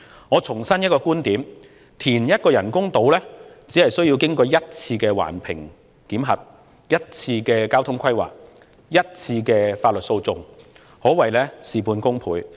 我重申一個觀點，填一個人工島，只須經過一次環評的檢核、一次交通規劃、一次法律訴訟，可謂事半功倍。